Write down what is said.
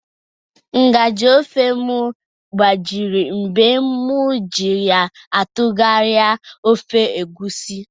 Nga/ji ofe m gbajiri mgbe m ji ya atụgharịa ofe Egusi